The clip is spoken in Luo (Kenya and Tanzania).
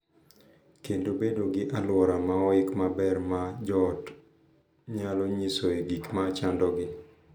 Kendo bedo gi alwora ma oik maber ma jo ot nyalo nyisoe gik ma chandogi